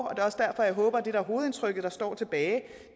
er også derfor jeg håber at det hovedindtryk der står tilbage